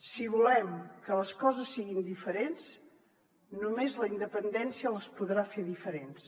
si volem que les coses siguin diferents només la independència les podrà fer diferents